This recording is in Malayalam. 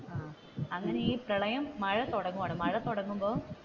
ആഹ് അങ്ങനെ ഈ പ്രളയം മഴ തുടങ്ങുവാണു മഴ തുടങ്ങുമ്പോൾ